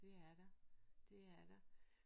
Det er der det er der